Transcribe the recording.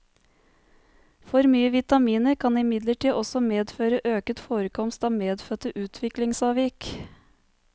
For mye vitaminer kan imidlertid også medføre øket forekomst av medfødte utviklingsavvik.